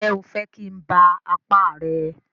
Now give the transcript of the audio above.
Ǹjẹ́ o fẹ́ kí n ba apá rẹ?